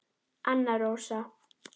Anna Rósa.